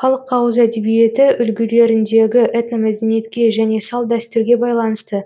халық ауыз эдебиеті үлгілеріндегі этномәдениетке және салт дәстүрге байланысты